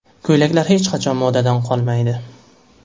Ko‘ylaklar hech qachon modadan qolmaydi.